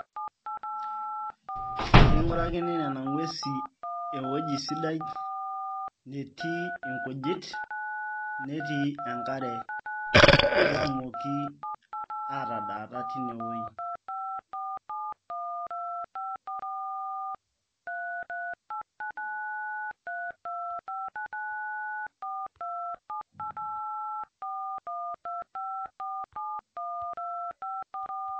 keing'uarkini nena ng'uesi ewueji sidai netii inkujit netii enkare pee etumoki aa tadaata teine wueji